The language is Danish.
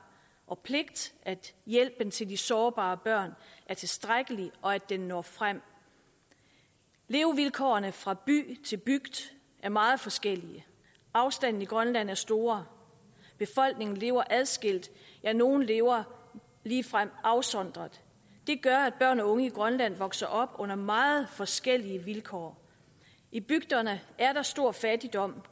og pligt at hjælpen til de sårbare børn er tilstrækkelig og at den når frem levevilkårene fra by til bygd er meget forskellig afstandene i grønland er store befolkningen lever adskilt ja nogle lever ligefrem afsondret det gør at børn og unge i grønland vokser op under meget forskellige vilkår i bygderne er der stor fattigdom